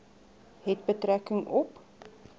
het betrekking op